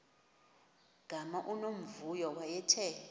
gama unomvuyo wayethe